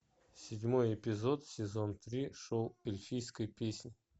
седьмой эпизод сезон три шоу эльфийская песнь